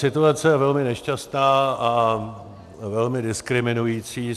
Situace je velmi nešťastná a velmi diskriminující.